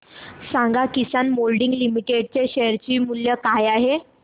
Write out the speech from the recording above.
सांगा Kisan moulding limited चे share मूल्य काय आहे